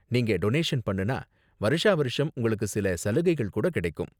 நீங்க டொனேஷன் பண்ணுனா வருஷா வருஷம் உங்களுக்கு சில சலுகைகள் கூட கிடைக்கும்.